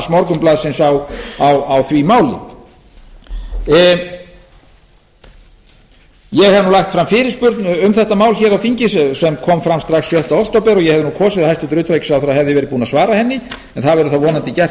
morgunblaðsins á því máli ég hef nú lagt fram fyrirspurn um þetta mál hér á þingi sem kom fram strax sjötta október og ég hefði nú kosið að hæstvirtur utanríkisráðherra hefði verið búinn að svara henni en það verður þá vonandi gert